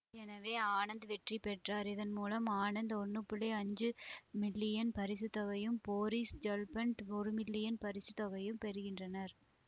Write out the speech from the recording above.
எனவே ஆனந்த் வெற்றி பெற்றார்இதன் மூலம் ஆனந்த் ஒன்று புள்ளி அஞ்சு மில்லியன் பரிசு தொகையையும் போரிஸ் ஜெல்ஃபான்ட் ஒரு மில்லியன் பரிசு தொகையையும் பெறுகின்றனர்